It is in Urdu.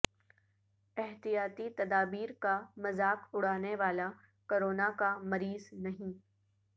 احتیاطی تدابیر کا مذاق اڑانے والا کرونا کا مریض نہیں